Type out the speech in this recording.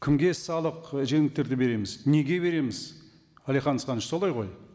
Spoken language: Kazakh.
кімге салық і жеңілдіктерді береміз неге береміз әлихан асханович солай ғой